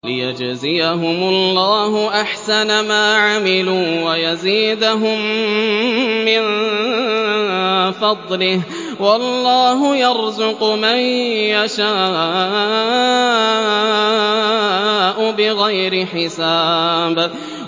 لِيَجْزِيَهُمُ اللَّهُ أَحْسَنَ مَا عَمِلُوا وَيَزِيدَهُم مِّن فَضْلِهِ ۗ وَاللَّهُ يَرْزُقُ مَن يَشَاءُ بِغَيْرِ حِسَابٍ